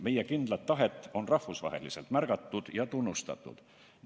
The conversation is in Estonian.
Meie kindlat tahet on rahvusvaheliselt märgatud ja tunnustatud.